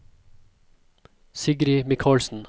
Sigrid Mikalsen